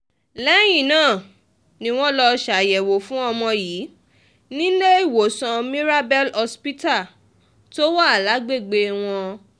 lẹ́yìn náà ni wọ́n lọ́ọ́ ṣàyẹ̀wò fún ọmọ yìí níléemọ̀sán mirabel hospital tó wà lágbègbè wọn